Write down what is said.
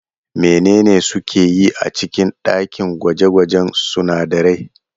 Menene suke yi a cikin ɗakin gwaje-gwajen sunadarai?